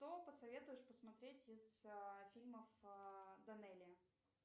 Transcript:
что посоветуешь посмотреть из фильмов данелия